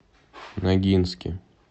ногинске